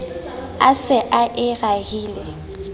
a se a e rahile